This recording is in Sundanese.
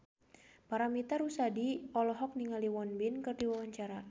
Paramitha Rusady olohok ningali Won Bin keur diwawancara